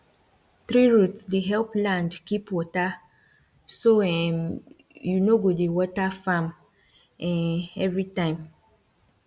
tree root dey help land keep water so um you no go dey water farm um every time